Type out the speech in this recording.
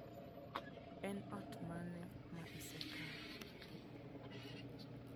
En ot mane ma isekawo?